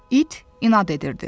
İt inad edirdi.